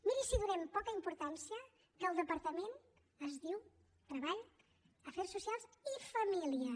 miri si donem poca importància que el departament es diu treball afers socials i famílies